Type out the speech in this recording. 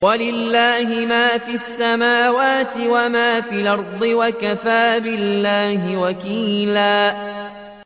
وَلِلَّهِ مَا فِي السَّمَاوَاتِ وَمَا فِي الْأَرْضِ ۚ وَكَفَىٰ بِاللَّهِ وَكِيلًا